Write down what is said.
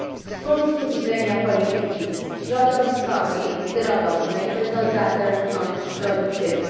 Z punktu widzenia polityki środowiskowej i zdrowotnej byłoby to zatem kontrproduktywne.